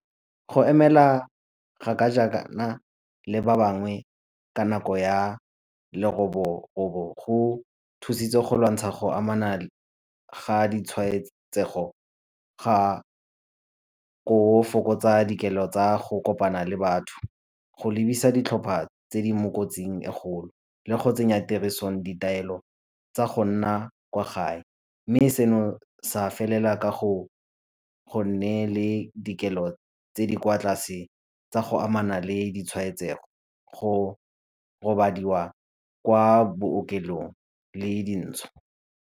Go emela kgaka jaana le ba bangwe ka nako ya leroborobo go thusitse go lwantsha go amana ga ditshwaetsego ga fokotsa tsa go kopana le batho, go lebisa ditlhopha tse di mo kotsing e kgolo le go tsenya tirisong ditaelo tsa go nna kwa gae mme seno sa felela ka go go nne le dikelo tse di kwa tlase tsa go amana le ditshwaetsego go robadiwa kwa bookelong e dintshwa.